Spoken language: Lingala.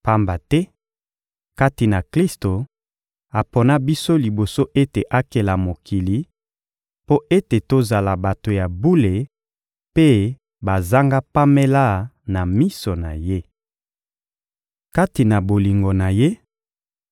Pamba te, kati na Klisto, apona biso liboso ete akela mokili, mpo ete tozala bato ya bule mpe bazanga pamela na miso na Ye. Kati na bolingo na Ye,